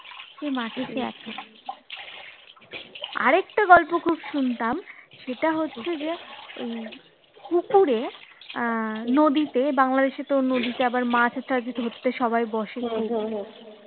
এই মাঠের মধ্যে আসে, আর একটা গল্প খুব শুনতাম, সেটা হচ্ছে যে ঐ, পুকুরে আহ নদীতে বাংলাদেশে তো নদীতে আবার মাছ ধরতে আবার বসে যায়,